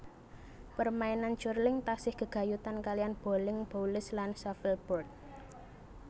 Permainan curling tasih gègayutan kaliyan boling boules lan shuffleboard